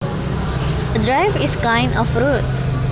A drive is kind of road